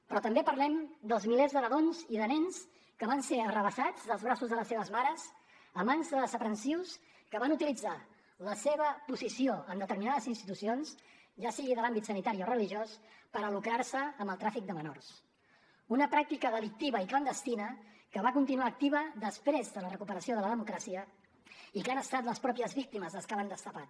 però també parlem dels milers de nadons i de nens que van ser arrabassats dels braços de les seves mares a mans de desaprensius que van utilitzar la seva posició en determinades institucions ja sigui de l’àmbit sanitari o religiós per a lucrar se amb el tràfic de menors una pràctica delictiva i clandestina que va continuar activa després de la recuperació de la democràcia i que han estat les mateixes víctimes les que l’han destapat